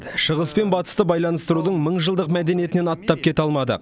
шығыс пен батысты байланыстырудың мыңжылдық мәдениетінен аттап кете алмады